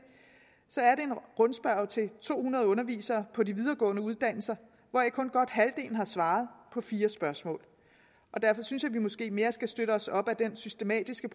rundspørge til to hundrede undervisere på de videregående uddannelser hvoraf kun godt halvdelen har svaret på fire spørgsmål og derfor synes jeg måske mere skal støtte os op ad den systematiske